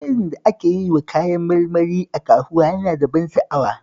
Jerin da ake yiwa kayan marmari a kasuwa yana da ban sha'awa